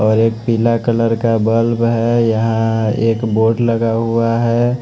और एक पीला कलर का बल्ब है यहां एक बोर्ड लगा हुआ है।